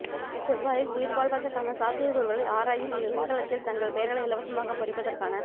செவ்வாயில் உயிர் வாழ்வதற்கான சாத்தியக்கூறுகளை ஆராயும் இந்த விண்கலத்தில் தங்கள் பெயர்களை இலவசமாக பொறிப்பதற்கான